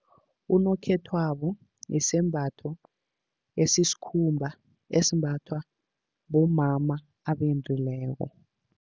Unokhethwabo yisembatho esisikhumbeni, esimbathwa bomama abendileko.